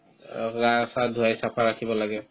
গা চা ধুৱাই সাফা ৰাখিব লাগে